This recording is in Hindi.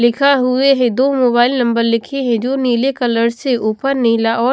लिखा हुए हैं दो मोबाइल नंबर लिखे हैं जो नीले कलर से ऊपर नीला और --